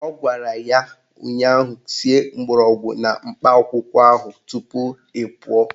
Ọ gwara ya ụnyaahụ "Sie mgbọrọgwụ na mkpa akwụkwọ ahụ tupu ị pụọ"